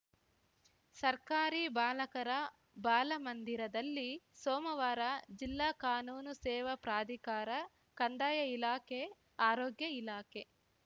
ಸರ್ಕಾರಿ ಬಾಲಕರ ಬಾಲ ಮಂದಿರದಲ್ಲಿ ಸೋಮವಾರ ಜಿಲ್ಲಾ ಕಾನೂನು ಸೇವಾ ಪ್ರಾಧಿಕಾರ ಕಂದಾಯ ಇಲಾಖೆ ಆರೋಗ್ಯ ಇಲಾಖೆ